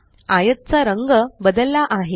आयतचा रंग बदलला आहे